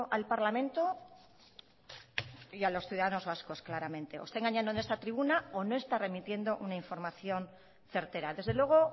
al parlamento y a los ciudadanos vascos claramente o está engañando en esta tribuna o no está remitiendo una información certera desde luego